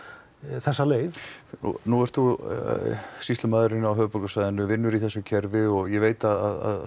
þessa leið nú ert þú sýslumaðurinn á höfuðborgarsvæðinu vinnur í þessu kerfi ég veit að